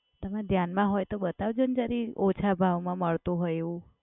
તમે ધ્યાનમાં હોય તો બતાવજો ને જરીક ઓછા ભાવમાં મળતું હોય એવું.